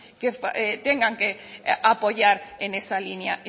que tengan que apoyar en esa línea